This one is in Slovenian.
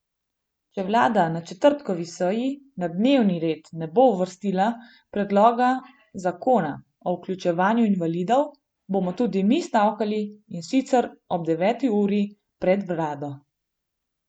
Če vlada na četrtkovi seji na dnevni red ne bo uvrstila predloga zakona o vključevanju invalidov, bomo tudi mi stavkali, in sicer ob deveti uri pred vlado.